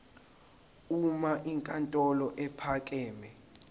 uma inkantolo ephakeme